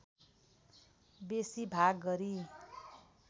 बेसी भाग गरी